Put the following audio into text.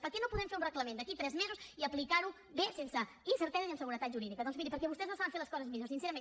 per què no podem fer un reglament d’aquí a tres mesos i aplicar ho bé sense incerteses i amb seguretat jurídica doncs miri perquè vostès no saben fer les coses millor sincerament